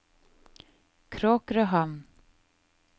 Kråkrøhamn